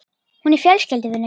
Hún er fjölskylduvinur.